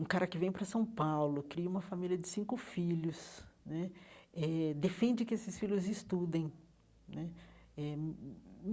Um cara que vem para São Paulo, cria uma família de cinco filhos né, eh defende que esses filhos estudem né eh.